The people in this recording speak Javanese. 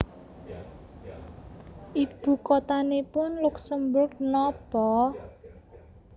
Ibu kotanipun Luksemburg nopo?